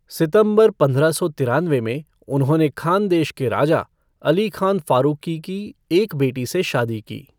सितंबर पंद्रह सौ तिरानवे में, उन्होंने खानदेश के राजा, अली खान फ़ारूक़ी की एक बेटी से शादी की।